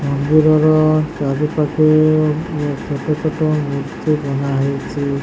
ମନ୍ଦିର ର ଚାରି ପାଖେ ଛୋଟ ଛୋଟ ମୂର୍ତ୍ତି ବନା ହେଇଚି ।